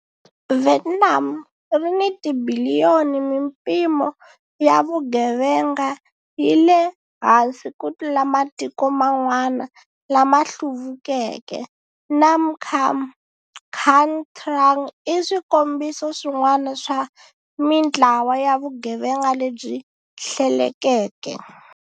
Vietnam ri ni tibiliyoni Mimpimo ya vugevenga yi le hansi ku tlula matiko man'wana lama hluvukeke. Nam Cam, Khanh Trang i swikombiso swin'wana swa mintlawa ya vugevenga lebyi hlelekeke.